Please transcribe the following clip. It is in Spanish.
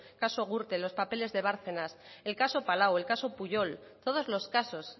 caso gürtel los papeles de bárcenas el caso palau el caso pujol todos los casos